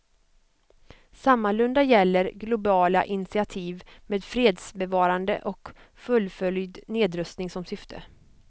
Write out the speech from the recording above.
Sammalunda gäller globala initiativ med fredsbevarande och fullföljd nedrustning som syfte.